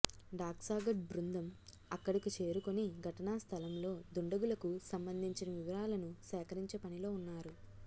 dog squad బృందం అక్కడకు చేరు కొని ఘటనా స్థలంలో దుండగులకు సంభందించిన వివారాలను సేకరించే పనిలో ఉన్నారు